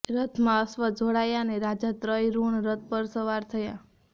રથમાં અશ્વ જોડાયા અ્ને રાજા ત્રયરુણ રથ પર સવાર થયા